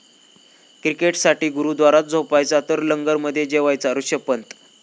क्रिकेटसाठी गुरुद्वारात झोपायचा तर लंगरमध्ये जेवायचा ऋषभ पंत